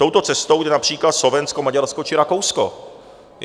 Touto cestou jde například Slovensko, Maďarsko či Rakousko.